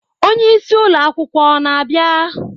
Onye isi ụlọ akwụkwọ ọ na-abịa?